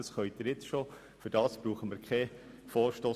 Das können wir bereits jetzt, dazu brauchen wir keinen Vorstoss.